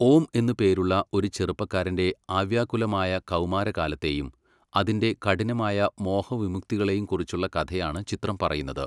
ഓം എന്ന് പേരുള്ള ഒരു ചെറുപ്പക്കാരൻ്റെ അവ്യാകുലമായ കൗമാരകാലത്തെയും അതിൻ്റെ കഠിനമായ മോഹവിമുക്തികളെയും കുറിച്ചുള്ള കഥയാണ് ചിത്രം പറയുന്നത്.